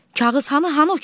Kağız hanı, hanı o kağız?